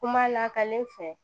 Kuma lakalen fɛ